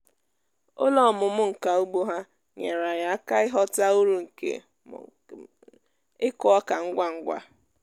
ụlọ ọmụmụ nka ugbo ha nyere anyị aka ịghọta uru nke ịkụ oka ngwa ngwa